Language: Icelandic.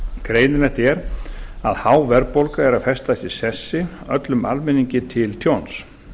greinilegt er að há verðbólga er að festast í sessi öllum almenningi til tjóns